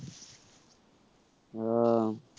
ও~